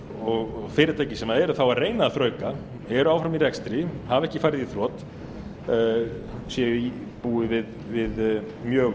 og fyrirtæki sem eru þá að reyna að þrauka eru áfram í rekstri hafa ekki farið í þrot búi við mjög